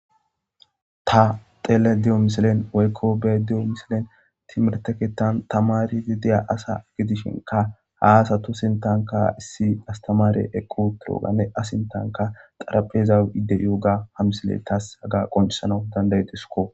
ta xele diyo misilen woykko bee diyo misilen timerteketan tamari wideya asa gidishinka haasatu sintanka issi astamare eqqu duroganne asintanka qarapeza iddeyouga ha misile taas haga qoncisanau dandayudisko